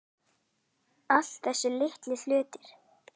Alla þessa litlu hluti.